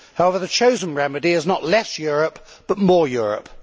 However, the chosen remedy is not less Europe, but more Europe.